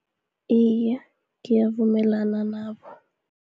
Iye, ngiyavumelana nabo.